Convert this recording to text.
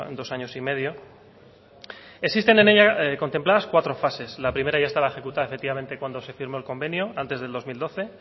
dos años y medio existen en ella contempladas cuatro fases la primera ya estaba ejecutada efectivamente cuando se firmó el convenio antes del dos mil doce